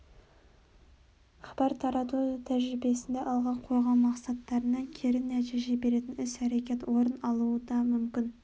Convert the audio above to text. хабар тарату тәжірибесінде алға қойған мақсаттарына кері нәтиже беретін іс-әрекет орын алуы да мүмкін